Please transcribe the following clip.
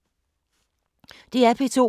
DR P2